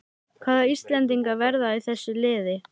Hvaða íslendingar verða í þessu liði?